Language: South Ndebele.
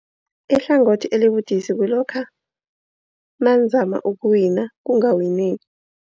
Ihlangothi elibudisi kulokha nanizama ukuwina kungawineki.